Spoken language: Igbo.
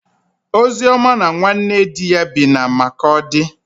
Ozioma na nwanne di ya bi na Makọdị.